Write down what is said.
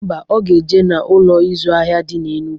Ḿbà, Ọ ga-eje n'Ụlọ ịzụ ahịa di na Enugwu